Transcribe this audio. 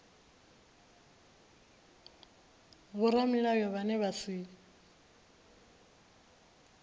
na vhoramilayo vhane vha si